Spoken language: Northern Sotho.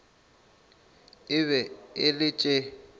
e be e le tše